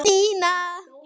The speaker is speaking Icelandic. Nína!